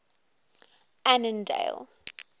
annandale